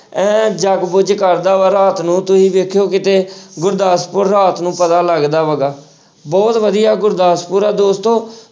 ਇਉਂ ਜਗਬੁਝ ਕਰਦਾ ਵਾ ਰਾਤ ਨੂੰ ਤੁਸੀਂ ਦੇਖਿਓ ਕਿਤੇ ਗੁਰਦਾਸਪੁਰ ਰਾਤ ਨੂੰ ਪਤਾ ਲੱਗਦਾ ਹੈਗਾ, ਬਹੁਤ ਵਧੀਆ ਗੁਰਦਾਸਪੁਰ ਆ ਦੋਸਤੋ।